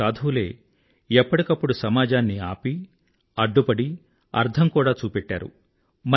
ఈ సాధువులే ఎప్పటికప్పుడు సమాజాన్ని ఆపి అడ్డుపడి అద్దం కూడా చూపెట్టారు